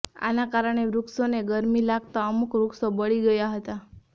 આના કારણે વૃક્ષોને ગરમી લાગતા અમુક વૃક્ષો બળી ગયા હતા